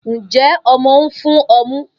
Njẹ ọmọ n fun ọmu?